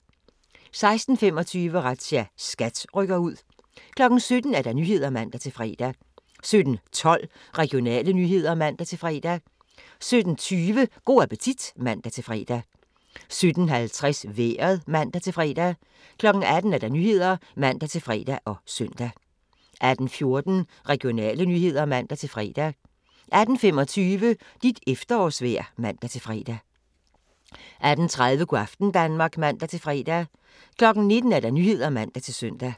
16:25: Razzia – SKAT rykker ud 17:00: Nyhederne (man-fre) 17:12: Regionale nyheder (man-fre) 17:20: Go' appetit (man-fre) 17:50: Vejret (man-fre) 18:00: Nyhederne (man-fre og søn) 18:14: Regionale nyheder (man-fre) 18:25: Dit efterårsvejr (man-fre) 18:30: Go' aften Danmark (man-fre) 19:00: Nyhederne (man-søn)